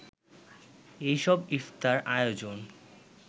এই সব ইফতার আয়োজন